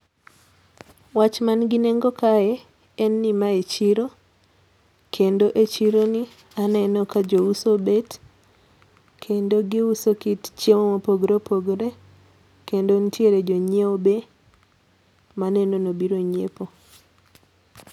Wach man gi nengo kae en ni, mae chiro. Kendo e chiro ni aneno ka jouso obet. Kendo gi uso kit chiemo mopogore opogore. Kendo nitiere jo nyieo be ma aneno ni obiro nyiepo.